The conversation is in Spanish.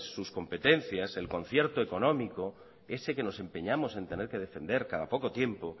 sus competencias el concierto económico ese que nos empeñamos en tener que defender cada poco tiempo